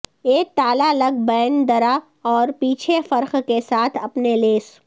ایک تالا لگ بین درا اور پیچھے فرق کے ساتھ اپنے لیس